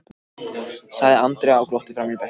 sagði Andrea og glotti framan í bekkinn.